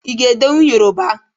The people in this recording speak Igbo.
Ị ga-edenwu Yoroba?